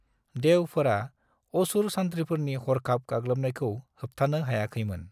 देवफोरा असुर सानथ्रिफोरनि हरखाब गाग्लोबनायखौ होबथानो हायाखै मोन।